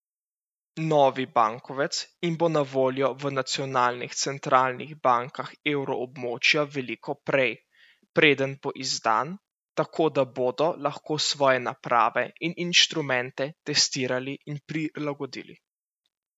Novi bankovec jim bo na voljo v nacionalnih centralnih bankah evroobmočja veliko prej, preden bo izdan, tako da bodo lahko svoje naprave in instrumente testirali in prilagodili.